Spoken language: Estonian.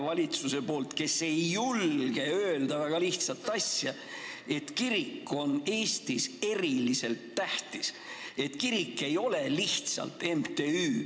Valitsus ei julge öelda väga lihtsat asja: kirik on Eestis eriliselt tähtis, kirik ei ole lihtsalt MTÜ.